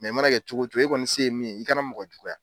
i mana kɛ cogo e kɔni se ye min ye, i kana mɔgɔ juguya.